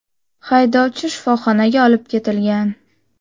Haydovchi shifoxonaga olib ketilgan.